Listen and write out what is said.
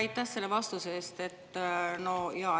Aitäh selle vastuse eest!